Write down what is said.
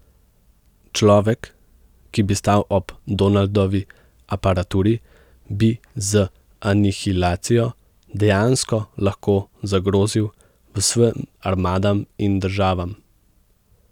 Človek, ki bi stal ob Donaldovi aparaturi, bi z anihilacijo dejansko lahko zagrozil vsem armadam in državam.